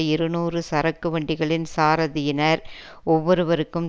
இருநூறு சரக்கு வண்டிகளின் சாரதியினர் ஒவ்வொருவருக்கும்